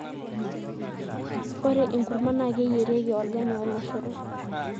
ore enkurma naa keyierieki olgani oloshoro